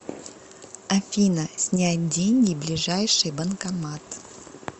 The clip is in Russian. афина снять деньги ближайший банкомат